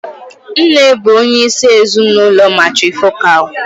Nne bụ onyeisi ezinụlọ matrifocal.